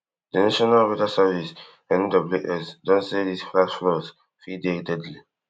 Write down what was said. de national weather service NWS don say dis flash floods fit dey deadly